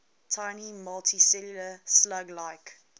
tiny multicellular slug like